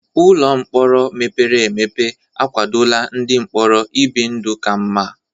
Ụlọ mkpọrọ mepere emepe akwadola ndị mkpọrọ ibi ndụ ka mma.